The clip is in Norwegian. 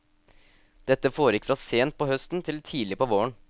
Dette foregikk fra sent på høsten til tidlig på våren.